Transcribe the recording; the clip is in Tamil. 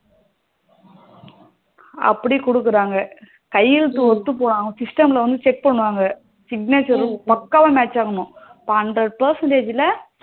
அப்டி குடுக்குறாங்க கையெழுத்து ஒத்து போன system ல வந்து check பண்ணுவாங்க signature பக்கவா match ஆகணும் இப்போ hundred percentage ல